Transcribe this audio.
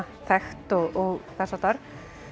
þekkt og þess háttar